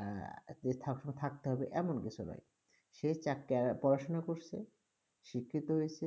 আহ যে থাকো- থাকতে হবে এমন কিছু নয়। সে চাক- আহ পড়াশুনা করসে, শিক্ষিত হয়েছে,